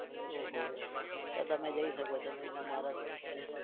ઓહો તો તમે જઈ શકો છો ને તમારા